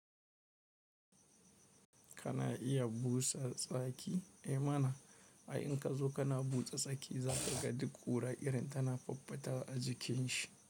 Kana iya busa tsaki? Eh mana, ai in ka zo kana busa tsaki za ka ga duk ƙura irin tana fuffuta a jikin shi.